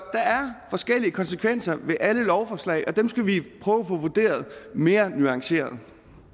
forskellige konsekvenser ved alle lovforslag og dem skal vi prøve på at få vurderet mere nuanceret